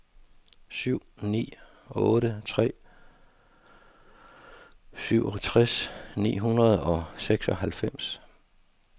syv ni otte tre syvogtres ni hundrede og seksoghalvfems